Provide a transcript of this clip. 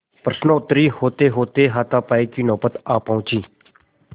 प्रश्नोत्तर होतेहोते हाथापाई की नौबत आ पहुँची